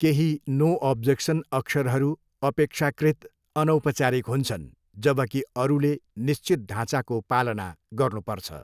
केही no objection अक्षरहरू अपेक्षाकृत अनौपचारिक हुन्छन्, जबकि अरूले निश्चित ढाँचाको पालना गर्नुपर्छ।